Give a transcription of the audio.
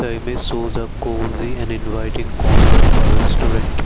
the image shows a cozy and inviting corner of a restaurant.